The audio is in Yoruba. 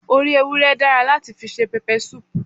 Orí ewúré dára láti fi se pepper soup